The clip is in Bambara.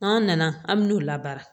N'an nana an bɛn'o labaara